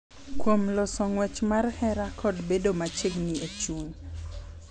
Kuom loso ng’wech mar hera kod bedo machiegni e chuny.